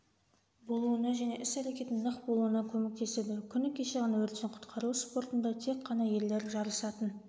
болуына және іс-әрекетінің нық болуына көмектеседі күні кеше ғана өрттен-құтқару спортында тек қана ерлер жарысатын